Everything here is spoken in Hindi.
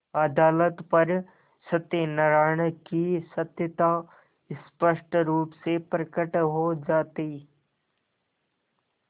अदालत पर सत्यनारायण की सत्यता स्पष्ट रुप से प्रकट हो जाती